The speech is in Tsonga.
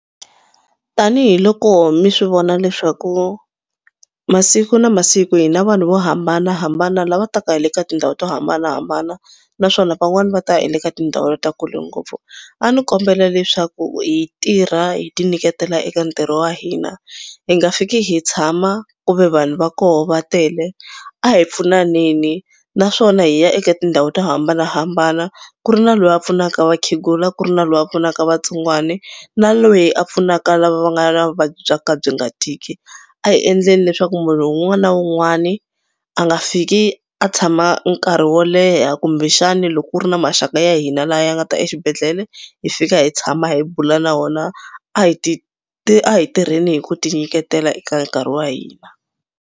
Tanihi loko mi swi vona leswaku masiku na masiku hi na vanhu vo hambanahambana lava taka hi le ka tindhawu to hambanahambana naswona van'wani va ta hi le ka tindhawu ta kule ngopfu. A ndzi kombela leswaku hi tirha hi tinyiketela eka ntirho wa hina hi nga fiki hi tshama ku ve vanhu va koho va tele. A hi pfunaneni naswona hi ya eka tindhawu to hambanahambana ku ri na loyi a pfunaka vakhegula, ku ri na loyi a pfunaka vatsongwana na loyi a pfunaka lava nga na vuvabyi bya ka byi nga tiki. A hi endleni leswaku munhu un'wana na un'wana a nga fiki a tshama nkarhi wo leha kumbexani loko ku ri na maxaka ya hina la ya nga ta exibedhlele hi fika hi tshama hi bula na wona. A hi a hi tirheni hi ku tinyiketela eka nkarhi wa hina.